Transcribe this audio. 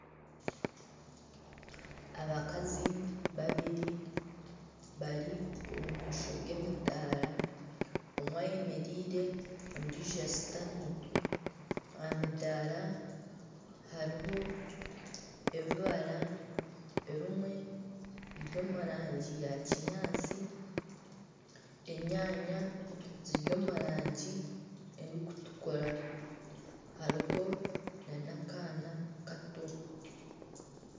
Abakazi babiri bari omu maisho g'emidaara, omwe ayemereire ondiijo ashutami aha midaara hariho ebibara ebimwe biri omu rangi ya kinyaatsi enyaanya ziri omu rangi erikutukura hariho nana akaana kato